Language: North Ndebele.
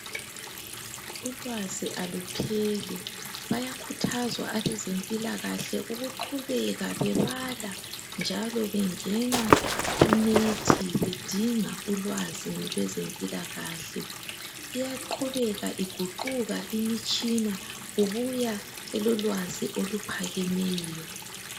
Ulwazi alupheli, bayakhuthazwa abezempilakahle ukuqhubeka bebala njalo bengena kunethi bedinga ulwazi lwezempilakahle. Iyaqhubeka iguquka imitshina kubuya elolwazi oluphakemeyo.